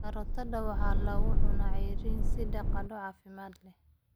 Karootada waxaa lagu cunaa ceyriin sida qado caafimaad leh.